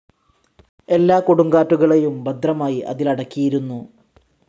എല്ലാ കൊടുങ്കാറ്റുകളേയും ഭദ്രമായി അതിലടക്കിയിരുന്നു.